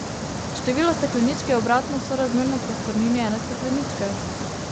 Število stekleničk je obratno sorazmerno prostornini ene stekleničke.